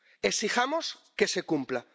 Exijamos que se cumpla.